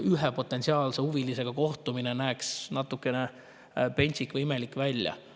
Ühe potentsiaalse huvilisega kohtumine näeks võib-olla natukene pentsik või imelik välja.